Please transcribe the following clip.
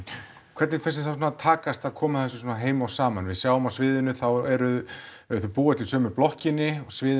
hvernig finnst þér svona takast að koma þessu heim og saman við sjáum á sviðinu þá eru þau búa öll í sömu blokkinni og sviðinu